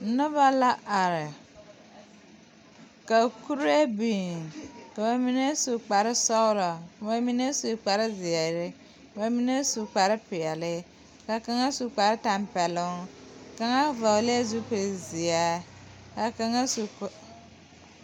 Nobɔ la are la kuree biŋ ka ba mine su kparesɔglɔ ka ba mine su kparezeere ba mine su kparepeɛle ka kaŋa su kparetampɛloŋ kaŋa vɔglɛɛ zupilzeɛ kaa kaŋa su ko.